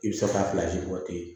I bɛ se ka bɔ ten